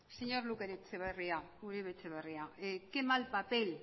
señor uribe etxeberria qué mal papel